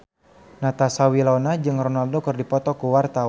Natasha Wilona jeung Ronaldo keur dipoto ku wartawan